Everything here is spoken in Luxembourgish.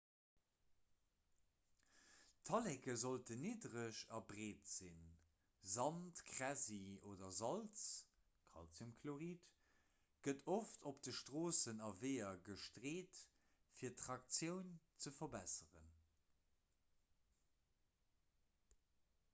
d'talleke sollten niddereg a breet sinn. sand kräsi oder salz calciumchlorid gëtt oft op de stroossen a weeër gestreet fir d'traktioun ze verbesseren